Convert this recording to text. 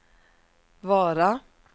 Vara